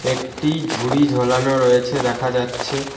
একটি ঝুরি ঝোলানো রয়েছে দেখা যাচ্ছে।